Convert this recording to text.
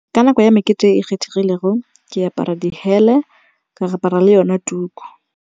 Ka nako ya mekete e kgethegilego ke apara dihele, ka re apara le yone tuku.